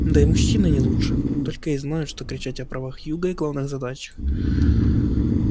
да и мужчины не лучше только и знают что кричать о правах юга и главных задачах